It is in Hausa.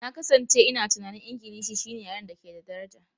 Na kasance ina tunanin Ingilishi shine yaren da ke da daraja.